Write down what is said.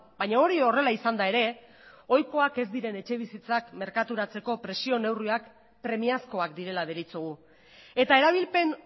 baina hori horrela izanda ere ohikoak ez diren etxebizitzak merkaturatzeko prezio neurriak premiazkoak direla deritzogu eta erabilpen